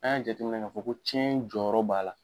An y'a jate minɛ k'a fɔ ko cɛn jɔyɔrɔ b'a la.